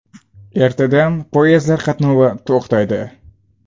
Ertadan poyezdlar qatnovi to‘xtaydi.